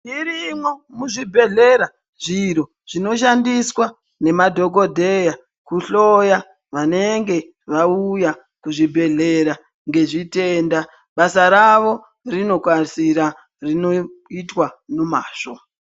Irimwo muzvibhedhlera zviro zvinoshandiswa nemadhokodheya kuhloya vanenge vauya kuzvibhedhlera nezvitenda basa ravo rinokasira rinoitwa nomazvo.